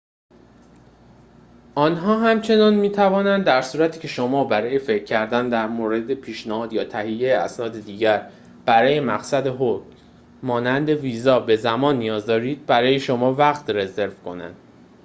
آنها همچنین می توانند در صورتی که شما برای فکر کردن در مورد پیشنهاد یا تهیه اسناد دیگر برای مقصد خود مانند ویزا به زمان نیاز دارید، برای شما وقت رزرو کنند